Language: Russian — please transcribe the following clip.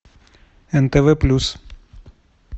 нтв плюс